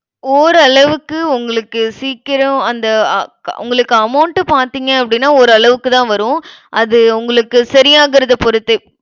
ஓரளவுக்கு, உங்களுக்கு சீக்கிரம், அந்த அ~ உங்களுக்கு amount பாத்தீங்க அப்படின்னா, ஓரளவுக்குதான் வரும். அது உங்களுக்கு சரியாகுறத பொறுத்து.